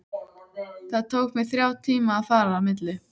Það tók mig þrjá tíma að fara á milli.